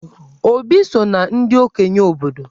Obi so na ndị okenye obodo.